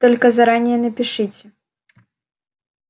только заранее напишите